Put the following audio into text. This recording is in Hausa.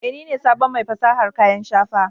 Eh, ni ne sabon mai fasahar kayan shafa